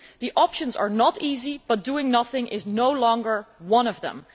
The options are not easy, but doing nothing is no longer one of them.